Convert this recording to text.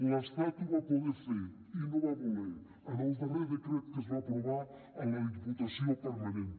l’estat ho va poder fer i no va voler en el darrer decret que es va aprovar en la diputació permanent